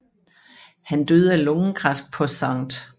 Han døde af lungekræft på St